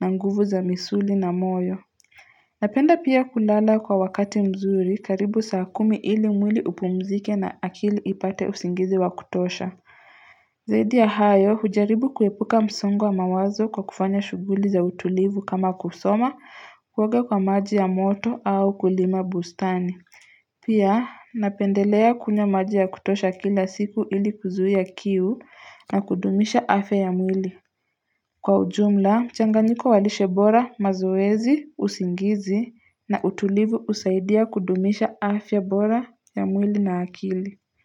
na nguvu za misuli na moyo. Napenda pia kulala kwa wakati mzuri, karibu saa kumi ili mwili upumzike na akili ipate usingizi wa kutosha. Zaidi ya hayo, hujaribu kuepuka msongo wa mawazo kwa kufanya shughuli za utulivu kama kusoma, kuoga kwa maji ya moto au kulima bustani. Pia, napendelea kunywa maji ya kutosha kila siku ili kuzuia kiu na kudumisha afya ya mwili. Kwa ujumla, mchanganyiko wa lishe bora, mazoezi, usingizi na utulivu usaidia kudumisha afya bora ya mwili na akili.